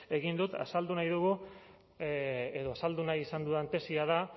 ere egin dut azaldu nahi dugu edo azaldu nahi izan dudan tesia da